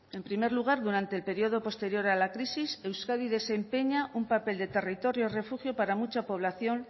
en primer lugar durante el periodo posterior a la crisis euskadi desempeña un papel de territorio refugio para mucha población